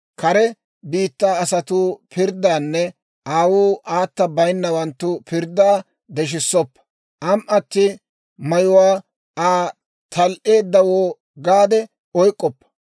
«Kare biittaa asatuu pirddaanne aawuu aata baynnawanttu pirddaa deshissoppa; am"atti mayuwaa Aa tal"eeddawoo gaade oyk'k'oppa.